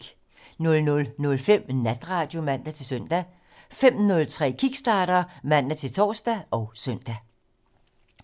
00:05: Natradio (man-søn) 05:03: Kickstarter (man-tor og søn)